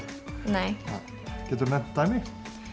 nei geturðu nefnt dæmi